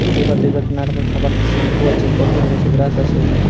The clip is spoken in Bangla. ডিবাতে বাত্ নানারকম খাবার আছে শ্যাম্পু আছে কোলগেট রয়েছে ব্রাশ আছে।